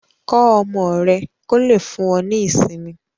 Kọ́ ọmọ rẹ kò lè fún ọ ní ìsinmi